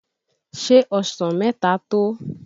Șé ọsàn mẹ́ta tó ọ?